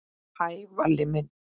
Hæ, Valli minn.